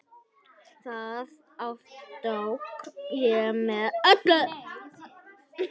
Það aftók ég með öllu.